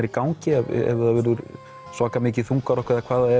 í gangi ef það verður svaka mikið þungarokk